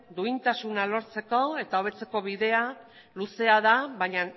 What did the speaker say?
duintasuna lortzeko eta hobetzeko bidea luzea da baina